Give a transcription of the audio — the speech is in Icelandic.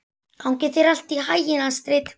Gangi þér allt í haginn, Astrid.